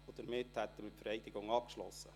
Damit ist die Vereidigung abgeschlossen.